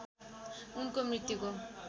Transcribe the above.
उनको मृत्युको